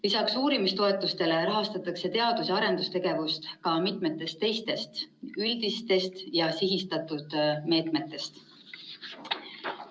Lisaks uurimistoetustele rahastatakse teadus‑ ja arendustegevust ka mitmest teisest üldisest ja sihistatud meetmest.